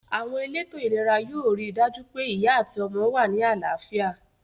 Àwon elétò ìlera yio ri dàjú pe ìyá àti ọmọ wa ni àláfíà